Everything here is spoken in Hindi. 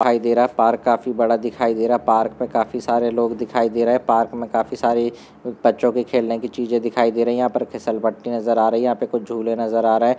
दिखाई दे रहा है पार्क काफी बडा दिखई रहा है पार्क मे काफी सारे लोग दिखाई दे रहे है पार्क काफी सारे बच्चों की खेलने की चीजे दिखाई दे रही है सलबट्टे नजर आ रही है यहाँ पर कुछ झूले नजर आ रही है।